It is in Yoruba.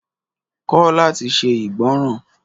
Kọ́ láti se igbonran